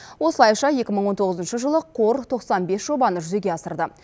осылайша ыншы жылы қор жобаны жүзеге асырды